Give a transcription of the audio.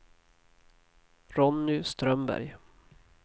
Ronny Strömberg